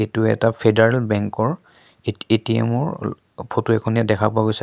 এইটো এটা federal bank ৰ এটি এ_টি_এম ৰ অ ফটো এখন ইয়াত দেখা পোৱা গৈছে কা--